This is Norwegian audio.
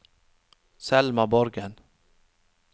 Selma Borgen